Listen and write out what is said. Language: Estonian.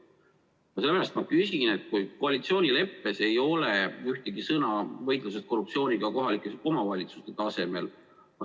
Sellepärast ma küsin selle kohta, et koalitsioonileppes ei ole ühtegi sõna võitlusest korruptsiooniga kohalike omavalitsuste tasemel.